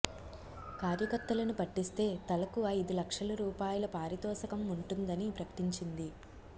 కార్యకర్తలను పట్టిస్తే తలకు ఐదు లక్షల రూపాయల పారితోషికం ఉంటుం దని ప్రకటించింది